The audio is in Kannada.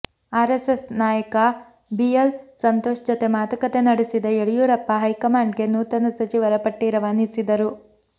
ಆರೆಸ್ಸೆಸ್ ನಾಯಕ ಬಿಎಲ್ ಸಂತೋಷ್ ಜತೆ ಮಾತುಕತೆ ನಡೆಸಿದ ಯಡಿಯೂರಪ್ಪ ಹೈಕಮಾಂಡ್ ಗೆ ನೂತನ ಸಚಿವರ ಪಟ್ಟಿ ರವಾನಿಸಿದ್ದರು